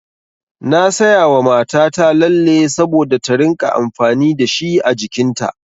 Na sayawa mata ta lalle saboda ta rinƙa amfani dashi a jikin ta.